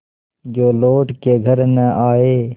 जो लौट के घर न आये